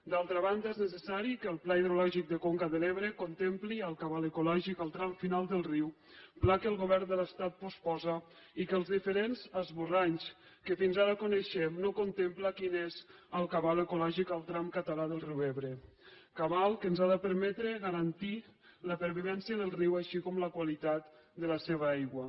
d’altra banda és necessari que el pla hidrològic de conca de l’ebre contempli el cabal ecològic del tram final del riu pla que el govern de l’estat posposa i que els diferents esborranys que fins ara coneixem no contemplen quin és el cabal ecològic del tram català del riu ebre cabal que ens ha de permetre garantir la pervivència del riu així com la qualitat de la seva aigua